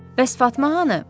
Bəs Fatma hanı?